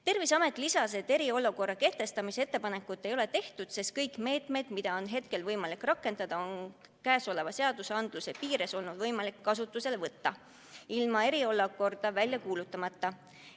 Terviseameti esindaja lisas, et eriolukorra kehtestamise ettepanekut ei ole tehtud, sest kõik meetmed, mida on hetkel vaja rakendada, on praegustegi seaduste raames olnud võimalik kasutusele võtta ilma eriolukorda välja kuulutamata.